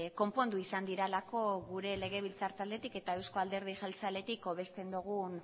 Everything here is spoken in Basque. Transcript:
konpondu izan direlako gure legebiltzar taldetik eta euzko alderdi jeltzaletik hobesten dugun